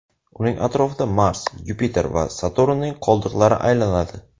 Uning atrofida Mars, Yupiter va Saturnning qoldiqlari aylanadi.